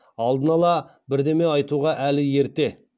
алдын ала бірдеме айтуға әлі ерте